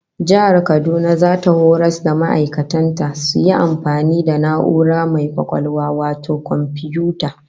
Jihar Kaduna zata horas da ma'aikatan ta su iya amfani da na'ura mai kwakwalwa wato komfiyuta